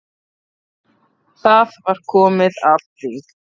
Það var komið að því.